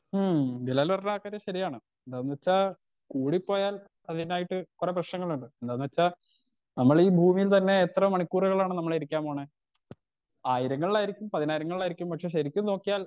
ഉം ബിലാൽ പറഞ്ഞ ആ കാര്യം ശരിയാണ് ഉം ന്ന്വെച്ച കൂടിപ്പോയാൽ അതിനായിട്ട് കൊറേ പ്രേശ്നങ്ങളുണ്ട് എന്താന്ന് വെച്ച നമ്മൾ ഈ ഭൂമിയിൽ തന്നെ എത്ര മണിക്കൂറുക്കളാണ് നമ്മൾ ഇരിക്കാൻ പോണേ ആയിരങ്ങളിലായിരിക്കും പതിനായിരങ്ങളിലായിരിക്കും പക്ഷെ ശരിക്കും നോക്കിയാൽ